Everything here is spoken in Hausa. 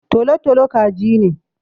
Tolo-tolo kaji ne.